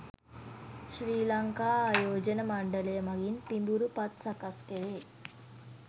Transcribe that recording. ශ්‍රී ලංකා ආයෝජන මණ්ඩලය මගින් පිඹුරු පත් සකස් කෙරේ.